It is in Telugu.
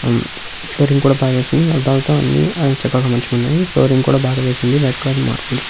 ఫ్లోరింగ్ కూడా బాగా వేసింది అద్దాలతో అన్ని చక్కగా మంచిగా ఉన్నాయి ఫ్లోరింగ్ కూడా బాగా వేసింది వైట్ కలర్ మార్బల్స్ --